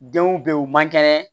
Denw bɛ yen u man kɛnɛ